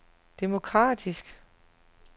demokratisk